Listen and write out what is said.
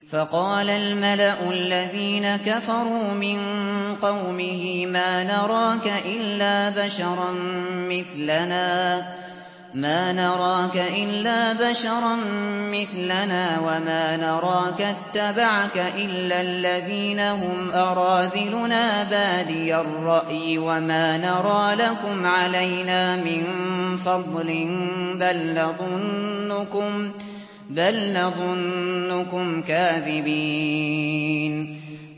فَقَالَ الْمَلَأُ الَّذِينَ كَفَرُوا مِن قَوْمِهِ مَا نَرَاكَ إِلَّا بَشَرًا مِّثْلَنَا وَمَا نَرَاكَ اتَّبَعَكَ إِلَّا الَّذِينَ هُمْ أَرَاذِلُنَا بَادِيَ الرَّأْيِ وَمَا نَرَىٰ لَكُمْ عَلَيْنَا مِن فَضْلٍ بَلْ نَظُنُّكُمْ كَاذِبِينَ